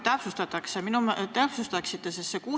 Kas te natuke täpsustaksite?